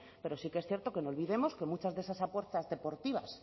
pero sí que es cierto que no olvidemos que muchas de esas apuestas deportivas